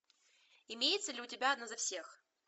имеется ли у тебя одна за всех